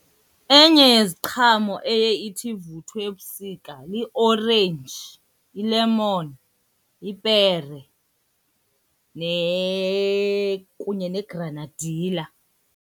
Enye yeziqhamo eye ithi ivuthwe ebusika liorenji, ilemoni, ipere kunye negranadila.